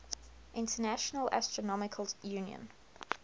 international astronomical union